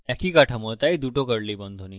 একই কাঠামোতাই দুটো curly বন্ধনী